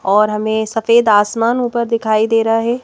और हमें सफेद आसमान ऊपर दिखाई दे रहा है।